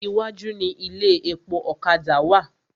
Iwájú ni ilé epo ọ̀kadà wà.